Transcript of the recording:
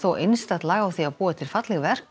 einstakt lag á því að búa til falleg verk og